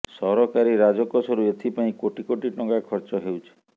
ସରକାରୀ ରାଜକୋଷରୁ ଏଥିପାଇଁ କୋଟି କୋଟି ଟଙ୍କା ଖର୍ଚ୍ଚ ହେଉଛି